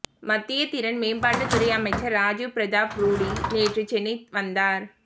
மத்திய திறன் மேம்பாட்டுத் துறை அமைச்சர் ராஜீவ் பிரதாப் ரூடி நேற்று சென்னை வந்தார்